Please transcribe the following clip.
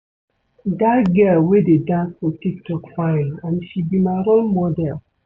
Dat girl wey dey dance for tik tok fine and she be my role model